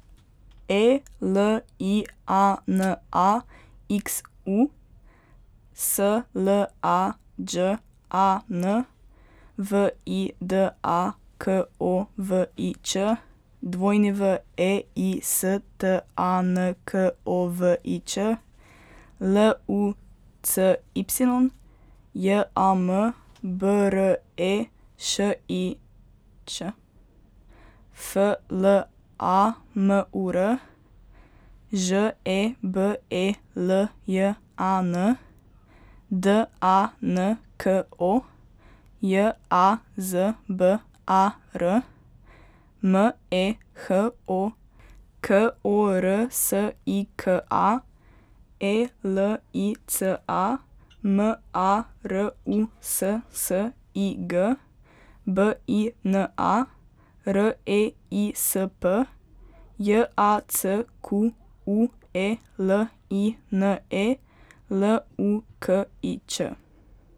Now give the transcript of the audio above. E L I A N A, X U; S L A Đ A N, V I D A K O V I Č; W E I, S T A N K O V I Č; L U C Y, J A M B R E Š I Ć; F L A M U R, Ž E B E L J A N; D A N K O, J A Z B A R; M E H O, K O R S I K A; E L I C A, M A R U S S I G; B I N A, R E I S P; J A C Q U E L I N E, L U K I Č.